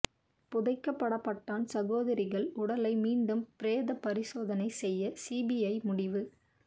புதைக்கப்பட்ட படான் சகோதரிகள் உடலை மீண்டும் பிரேத பரிசோதனை செய்ய சிபிஐ முடிவு